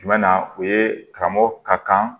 Jumɛn na o ye karamɔgɔ ka kan